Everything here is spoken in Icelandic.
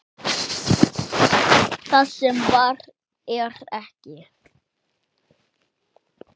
Það sem var er ekki.